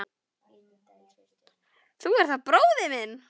Þú ert þá bróðir minn.